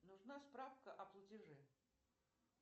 нужна справка о платеже